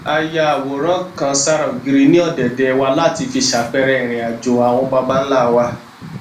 a ya àwòrán kan sára ògiri ní ọdẹdẹ wa láti fi ṣàpẹẹrẹ ìrìnàjò àwọn baba ńlá wa